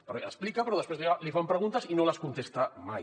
perquè explica però després li fan preguntes i no les contesta mai